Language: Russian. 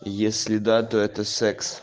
если да то это секс